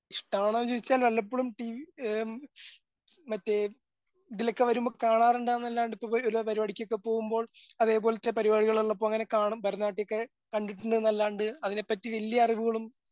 വല്ലപ്പഴും പ് എ മറ്റേ ഇതിലൊക്കെ വരുമ്പോ കാണാറുണ്ടന്നല്ലാണ്ട് ഇപ്പ ഒരു പരുപാടിക്കൊക്കെ പോകുമ്പോൾ അതേപോലത്തെ പരുപാടികളുള്ളപ്പോ അങ്ങനെ കാണും ഭാരത നാട്ട്യോക്കെ കണ്ടിട്ടുണ്ടന്നല്ലാണ്ട് അതിനെപ്പറ്റി വല്യ അറിവുകളും